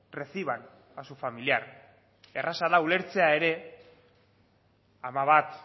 reciban a su familiar erraza de ulertzea ere ama bat